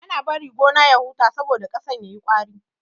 Ana bari gona ya huta saboda ƙasan yayi ƙwari.